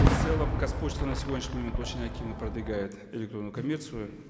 в целом казпочта на сегодняшний момент очень активно продвигает электронную коммерцию